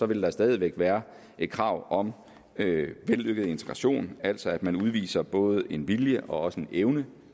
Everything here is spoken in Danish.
vil der stadig væk være et krav om vellykket integration altså at man udviser både en vilje og en evne